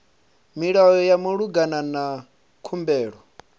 milayo ya malugana na khumbelo